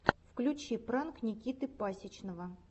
включи пранк никиты пасичного